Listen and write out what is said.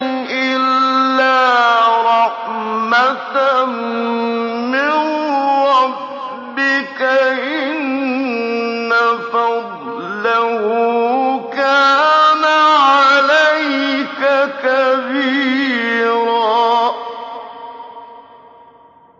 إِلَّا رَحْمَةً مِّن رَّبِّكَ ۚ إِنَّ فَضْلَهُ كَانَ عَلَيْكَ كَبِيرًا